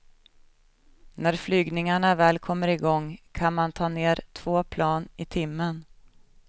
När flygningarna väl kommer igång kan man ta ner två plan i timman.